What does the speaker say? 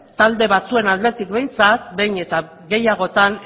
talde batzuen aldetik behintzat behin eta gehiagotan